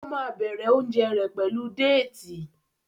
o má bẹrẹ oúnjẹ rẹ pẹlú Déètì.